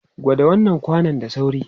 Kwada wannan kwanan da sauri!